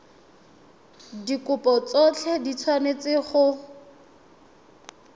dikopo tsotlhe di tshwanetse go